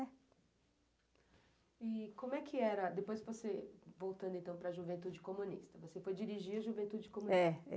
E como é que era, depois você voltando então para a juventude comunista, você foi dirigir a juventude comunista?